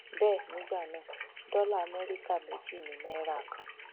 bẹẹ nígbà náà dọlà amẹríkà méjì ni náírà kan